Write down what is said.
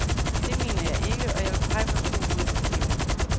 Det mener jeg ikke, og jeg vil pege på to hovedproblemer.